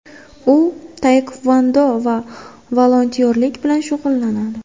U taekvondo va volontyorlik bilan shug‘ullanadi.